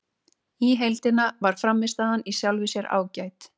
Í heildina var frammistaðan í sjálfu sér ágæt.